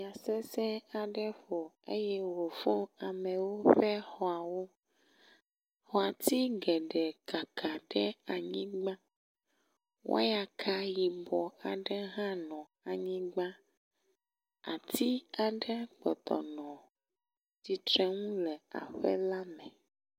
Ya sesẽ aɖe ƒo eye wofɔ̃ amewo ƒe xɔawo, ati geɖe kaka ɖe anyigba, wɔyaka yibɔ aɖe hã nɔ anyigba. Ati aɖe kpɔtɔ nɔ tsitre nu le aƒe le me.